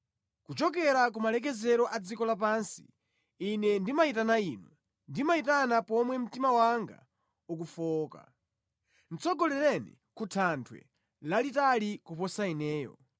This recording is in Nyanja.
Kuchokera ku malekezero a dziko lapansi ine ndimayitana Inu ndimayitana pomwe mtima wanga ukufowoka; tsogolereni ku thanthwe lalitali kuposa ineyo.